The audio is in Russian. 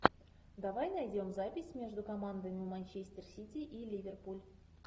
давай найдем запись между командами манчестер сити и ливерпуль